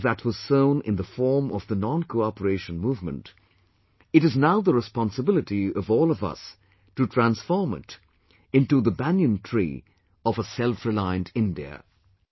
A seed that was sown in the form of the Noncooperation movement, it is now the responsibility of all of us to transform it into banyan tree of selfreliant India